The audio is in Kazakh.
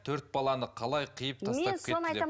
төрт баланы қалай қиып тастап кетті деп